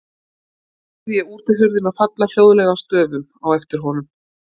Svo heyrði ég útihurðina falla hljóðlega að stöfum á eftir honum.